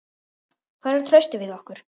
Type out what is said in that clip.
Hvar er traustið við okkur?